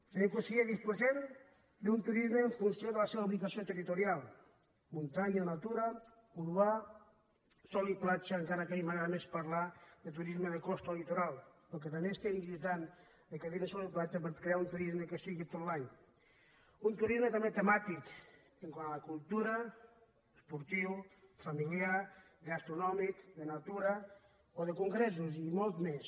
senyor conseller disposem d’un turisme en funció de la seva ubicació territorial muntanya o natura urbà sol i platja encara que a mi m’agrada més parlar de turisme de costa o litoral perquè també estem lluitant per no dir·ne sol i platja per crear un turisme que sigui tot l’any un turisme també temàtic quant a la cultura esportiu familiar gastronòmic de natura o de congressos i molts més